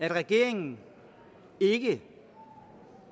at regeringen ikke